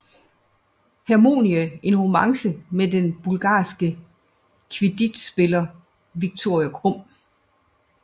Hermione en romance med den bulgarske Quidditchspiller Viktor Krum